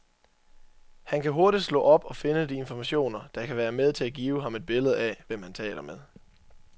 Han kan hurtigt slå op og finde de informationer, der kan være med til at give ham et billede af, hvem han taler med.